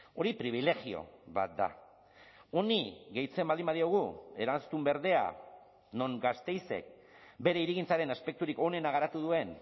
hori pribilegio bat da honi gehitzen baldin badiogu eraztun berdea non gasteizek bere hirigintzaren aspekturik onena garatu duen